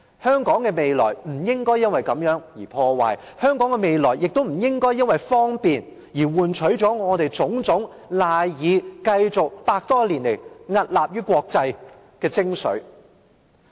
香港的未來不應因此而被破壞，香港的未來亦不應因為方便而換取了我們種種賴以維持百多年來屹立於國際的精髓。